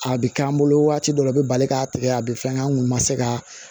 A bɛ k'an bolo waati dɔ la u bɛ bali k'a tigɛ a bɛ fɛn kɛ an kun ma se ka